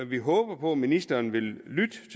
vi håber på at ministeren vil lytte